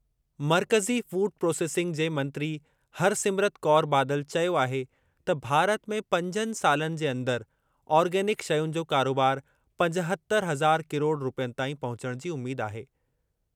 मर्कज़ी food processing जे मंत्री हरसिमरत कौर बादल चयो आहे त भारत में पंजनि सालनि जे अंदरि ऑर्गेनिक शयुनि जो कारोबार पंजहतर हज़ार किरोड़ रूपयनि ताईं पहुचणु जी उमीद आहे।